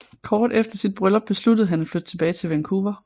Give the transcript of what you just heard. Kort efter sit bryllup besluttede han at flytte tilbage til Vancouver